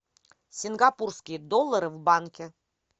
сингапурские доллары в банке